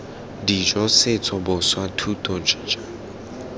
dijo setso boswa thuto jj